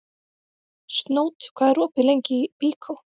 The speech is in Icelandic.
Snót, hvað er lengi opið í Byko?